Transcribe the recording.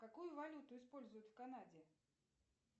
какую валюту используют в канаде